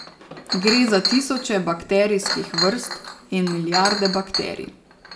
Gre za tisoče bakterijskih vrst in milijarde bakterij.